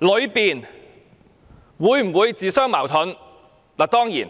以及其中有否自相矛盾而言。